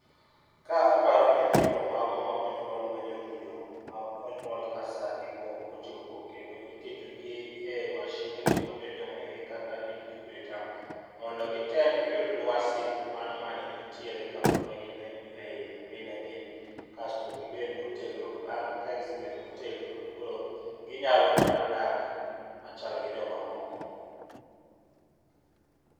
Ka aparo nyithindo mago ma onyuol mayomyom monyuol ka saa gi pok ochopo kendo iketo gi e mashind ni ma bende ongere kaka incubator mondo gitem giyud lwasi mano maneni tiere kapod ne gin ei mine gi kasto gibed motegno. Bang' ka gisebedo motegno to ginyalo mana dak machal gi joma moko.